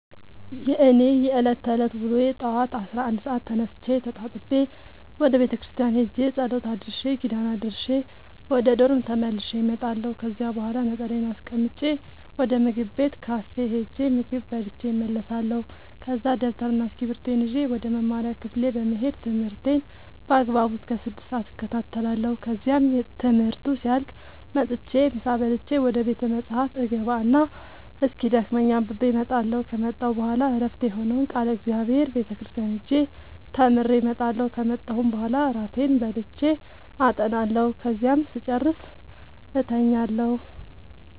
የእኔ የዕለት ተዕለት ውሎዬ ጠዋት አስራ አንድ ሰአት ተነስቼ ተጣጥቤ ወደ ቤተክርስቲያን ሄጄ ጸሎት አድርሼ ኪዳን አድርሼ ወደ ዶርሜ ተመልሼ እመጣለሁ ከዚያ በኋላ ነጠላዬን አስቀምጬ ወደ ምግብ ቤት ካፌ ሄጄ ምግብ በልቼ እመለሳለሁ ከዛ ደብተርና እስኪብርቶዬን ይዤ ወደ መማሪያ ክፍሌ በመሄድ ትምህርቴን በአግባቡ እስከ ስድስት ሰአት እከታተላለሁ ከዚያም ትምህርቱ ሲያልቅ መጥቼ ምሳ በልቼ ወደ ቤተ መፅሀፍ እገባ እና እስኪደክመኝ አንብቤ እመጣለሁ ከመጣሁ በኋላ ዕረፍት የሆነውን ቃለ እግዚአብሔር ቤተ ክርስቲያን ሄጄ ተምሬ እመጣለሁ ከመጣሁም በኋላ እራቴን በልቼ አጠናለሁ ከዚያም ስጨርስ እተኛለሁ።